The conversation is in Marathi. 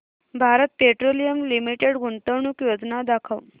भारत पेट्रोलियम लिमिटेड गुंतवणूक योजना दाखव